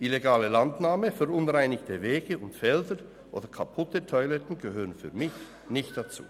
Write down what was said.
Illegale Landnahme, verunreinigte Wege und Felder oder kaputte Toiletten gehörten für mich nicht dazu.